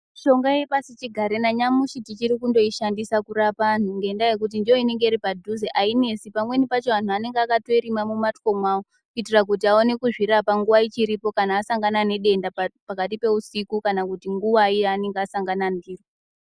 Mishonga ye pasi chigare na nyamushi tichiri kundoi shandisa kurapa antu ngenya yekuti ndo inenge iri padhuze ayinesi pamweni pacho anhu anenge akatoirima mu mbatso mawo kuitira kuti vaone kuzvi rapa nguva ichipo kana asangana ne denda pakati pe usiku kana kuti nguvai yaananenge asangana ndiro.